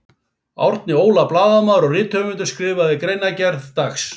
Árni Óla blaðamaður og rithöfundur skrifaði greinargerð, dags.